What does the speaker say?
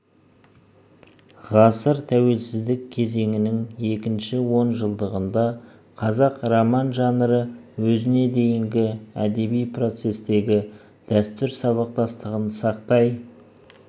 ғасыр тәуелсіздік кезеңінің екінші он жылдығында қазақ роман жанры өзіне дейінгі әдеби процестегі дәстүр сабақтастығын сақтай